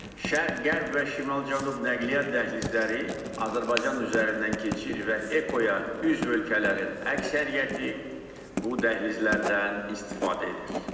Şərq-qərb və şimal-cənub nəqliyyat dəhlizləri Azərbaycan üzərindən keçir və EKO-ya üzv ölkələrin əksəriyyəti bu dəhlizlərdən istifadə edir.